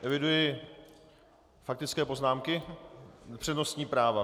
Eviduji faktické poznámky, přednostní práva.